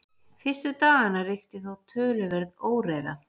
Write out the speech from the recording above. fyrstu daganna ríkti þó töluverð óreiða